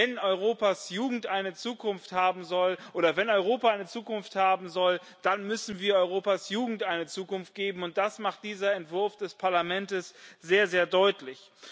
Wenn Europas Jugend eine Zukunft haben soll, oder wenn Europa eine Zukunft haben soll, dann müssen wir Europas Jugend eine Zukunft geben, und das macht dieser Entwurf des Parlaments sehr, sehr deutlich.